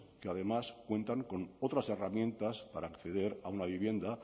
que además cuentan con otras herramientas para acceder a una vivienda